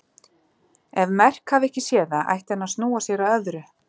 Ef Merk hafi ekki séð það ætti hann að snúa sér að öðru.